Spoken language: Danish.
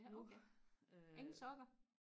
ja okay ingen sokker